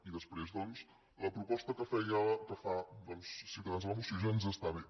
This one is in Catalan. i després doncs la proposta que fe·ia que fa ciutadans a la moció ja ens està bé